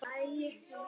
En Bjarni Ben.